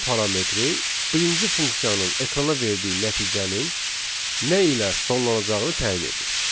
End parametri birinci funksiyanın ekrana verdiyi nəticənin nə ilə sonlanacağını təyin edir.